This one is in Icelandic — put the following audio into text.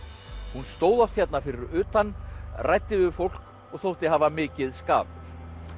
hún stóð oft hérna fyrir utan ræddi við fólk og þótti hafa mikið skap